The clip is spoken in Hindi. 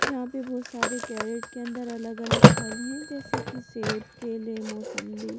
जहां पे बहुत सारे कैरेट के अंदर अलग-अलग फल हैं जैसे कि सेब केले मौसंबी--